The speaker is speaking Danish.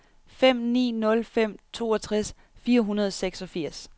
fem ni nul fem toogtres fire hundrede og seksogfirs